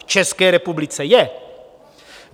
V České republice je.